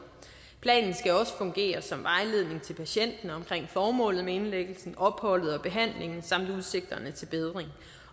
planen skal også fungere som vejledning til patienten omkring formålet med indlæggelsen opholdet og behandlingen samt udsigterne til bedring